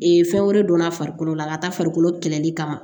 fɛn wɛrɛ donna farikolo la a ka taa farikolo kɛlɛli kama